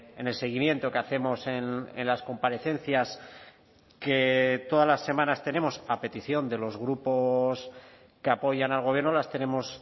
en el seguimiento que hacemos en las comparecencias que todas las semanas tenemos a petición de los grupos que apoyan al gobierno las tenemos